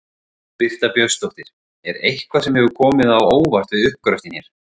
Birta Björnsdóttir: Er eitthvað sem hefur komið á óvart við uppgröftinn hér?